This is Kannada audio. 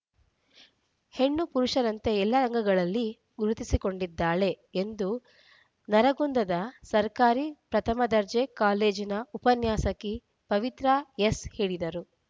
ಹೆಣ್ಣು ಪುರುಷರಂತೆ ಎಲ್ಲಾ ರಂಗಗಳಲ್ಲಿ ಗುರುತಿಸಿಕೊಂಡಿದ್ದಾಳೆ ಎಂದು ನರಗುಂದದ ಸರ್ಕಾರಿ ಪ್ರಥಮ ದರ್ಜೆಯ ಕಾಲೇಜಿನ ಉಪನ್ಯಾಸಕಿ ಪವಿತ್ರ ಎಸ್ ಹೇಳಿದರು